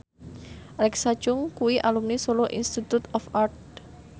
Alexa Chung kuwi alumni Solo Institute of Art